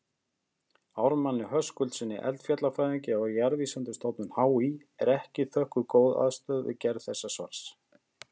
Ármanni Höskuldssyni eldfjallafræðingi á Jarðvísindastofnun HÍ er þökkuð góð aðstoð við gerð þessa svars.